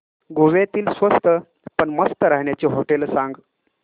गोव्यातली स्वस्त पण मस्त राहण्याची होटेलं सांग